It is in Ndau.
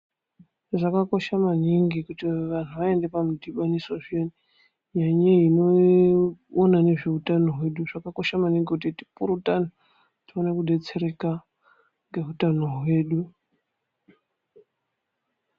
Zvakakosha maningi kuti vantu aende pamudhibaniso zviyani kune vanoona nezveutano hwedu zvakakosha maningi kuti tipurutane, tione kudetsereka ngeutano hwedu.